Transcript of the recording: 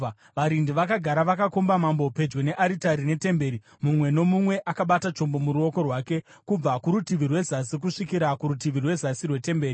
Varindi vakagara vakakomba mambo pedyo nearitari netemberi, mumwe nomumwe akabata chombo muruoko rwake, kubva kurutivi rwezasi kusvikira kurutivi rwezasi rwetemberi.